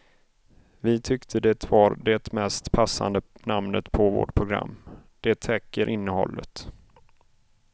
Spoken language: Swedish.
Vi tyckte det var det mest passande namnet på vårt program, det täcker innehållet.